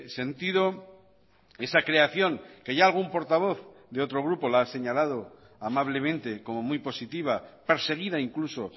sentido esa creación que ya algún portavoz de otro grupo la ha señalado amablemente como muy positiva perseguida incluso